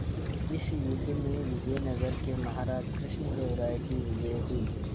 इस युद्ध में विजय नगर के महाराज कृष्णदेव राय की विजय हुई